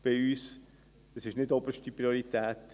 Das hat nicht oberste Priorität.